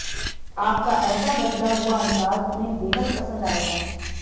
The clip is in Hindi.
आपका ऐसा बदला हुआ अंदाज उन्हें बेहद पसंद आएगा